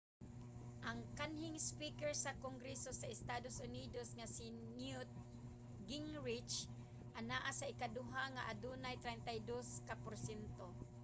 ang kanhing speaker sa kongreso sa estados unidos nga si newt gingrich anaa sa ikaduha nga adunay 32 ka porsyento